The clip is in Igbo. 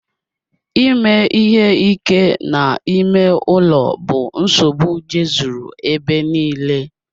Ime ihe ike n'ime ụlọ bụ nsogbu jezuru ebe nille.